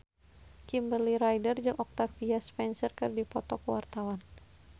Kimberly Ryder jeung Octavia Spencer keur dipoto ku wartawan